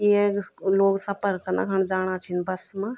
ये लोग सफ़र कना खन जाणा छिन बस मा।